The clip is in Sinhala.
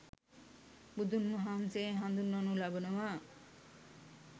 බුදුන් වහන්සේ හඳුන්වනු ලබනවා.